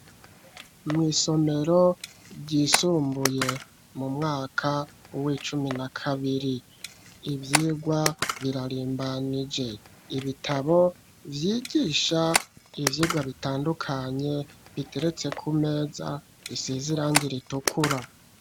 Mwisomero ryisumbuye ,Mumwaka wicumi na kabiri ivyirwa birarimbanije ibitabo vyigisha ivyigwa bitandukanye biteretse kumeza bisize irangi ritukura.